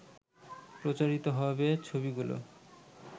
প্রচারিত হবে ছবিগুলো